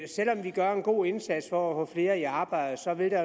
selv om vi gør en god indsats for at få flere i arbejde så vil der